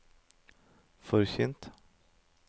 forkynt